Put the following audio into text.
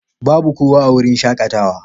Babu kowa a wurin shakatawa.